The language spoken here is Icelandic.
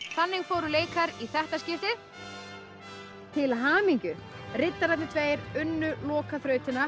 þannig fóru leikar í þetta skiptið til hamingju riddararnir tveir unnu